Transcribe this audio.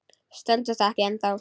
Stendur það ekki ennþá?